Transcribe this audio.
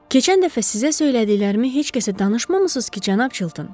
Keçən dəfə sizə söylədiklərimi heç kəsə danışmamısınız ki, cənab Chilton?